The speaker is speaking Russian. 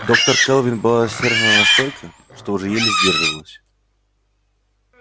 доктор кэлвин была рассержена настолько что уже еле сдерживалась